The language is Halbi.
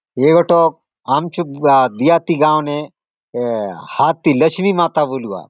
ए गोटक आमचो देहाती गांव ने ए हाथी लक्ष्मी माता बोलूआत।